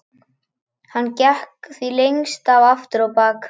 Hann gekk því lengst af aftur á bak.